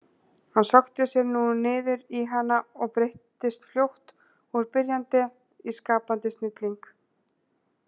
Hann sökkti sér nú niður í hana og breyttist fljótt úr byrjanda í skapandi snilling.